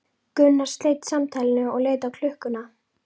Gunnar sleit samtalinu og leit á klukkuna.